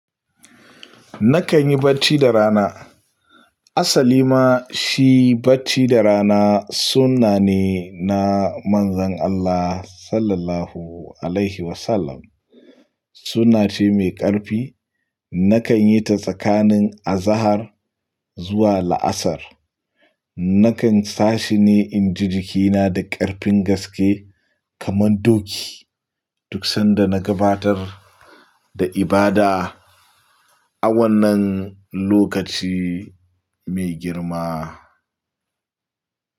Nakan yi bacci da rana. Asali ma shi bacci da rana sunna ne na Manzon Allah Sallallahu Alaihi Wasallam. Sunna ce mai ƙarfi. Nakan yi ta tsakanin azahar zuwa la'asar. Nakan sashi ne inji jikina da ƙarfin gaske kaman doki duk sanda na gabatar da ibada a wannan lokaci mai girma.